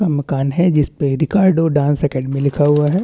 मकान है जिसपे डांस अकैडमी लिखा हुआ है।